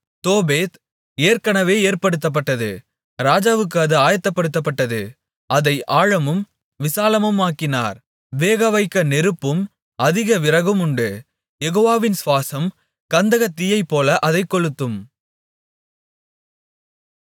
Topheth ஏற்கனவே ஏற்படுத்தப்பட்டது ராஜாவுக்கு அது ஆயத்தப்படுத்தப்பட்டது அதை ஆழமும் விசாலமுமாக்கினார் வேகவைக்க நெருப்பும் அதிக விறகுமுண்டு யெகோவாவின் சுவாசம் கந்தகத் தீயைப்போல அதைக் கொளுத்தும்